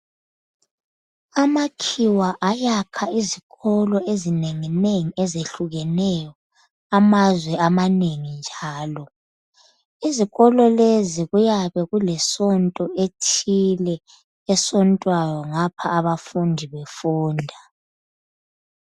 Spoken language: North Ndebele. amakhiwa ayakha izikolo ezinenginengi ezehlukeneyo amazwe amanengi njalo izikolo lezi kuyabe kulesonto thile esontwayo ngapha abafundi befunda